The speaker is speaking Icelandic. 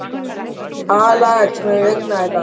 Axel, mun rigna í dag?